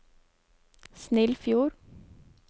Snillfjord